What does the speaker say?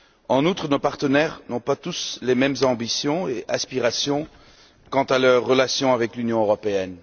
En outre, nos partenaires n'ont pas tous les mêmes ambitions et aspirations quant à leurs relations avec l'Union européenne.